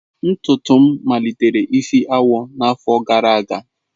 Ntutu m malitere isi awọ n'afọ gara aga.